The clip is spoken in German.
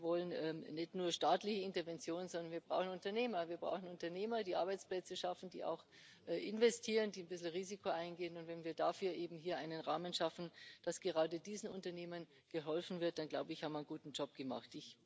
Wir wollen nicht nur staatliche Interventionen, sondern wir brauchen Unternehmer, die Arbeitsplätze schaffen, die auch investieren, die ein gewisses Risiko eingehen, und wenn wir dafür einen Rahmen schaffen, dass gerade diesen Unternehmen geholfen wird, dann, glaube ich, haben wir einen guten Job gemacht.